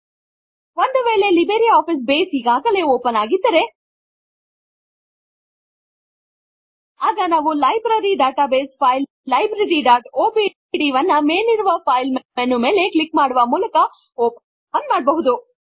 ಒಂದು ವೇಳೆ Libre Office Base ಈಗಾಗಲೇ ಓಪನ್ ಆಗಿದ್ದರೆ ಆಗ ನಾವು ಲೈಬ್ರರಿ ಡಾಟಾ ಬೇಸ್ ಫೈಲ್ libraryಒಡಿಬಿ ವನ್ನು ಮೇಲಿರುವ ಫೈಲ್ ಮೆನು ಮೇಲೆ ಕ್ಲಿಕ್ ಮಾಡುವ ಮೂಲಕ ಓಪನ್ ಮಾಡಬಹುದು